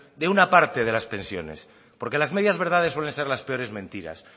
de una parte de las pensiones porque las medias verdades suelen ser las peores mentiras